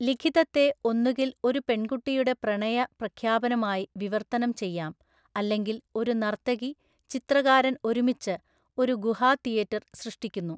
ലിഖിതത്തെ ഒന്നുകിൽ ഒരു പെൺകുട്ടിയുടെ പ്രണയ പ്രഖ്യാപനമായി വിവർത്തനം ചെയ്യാം അല്ലെങ്കിൽ ഒരു നർത്തകി ചിത്രകാരൻ ഒരുമിച്ച് ഒരു ഗുഹാ തീയറ്റർ സൃഷ്ടിക്കുന്നു.